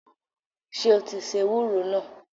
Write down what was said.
Sọ ti se ewúro náà?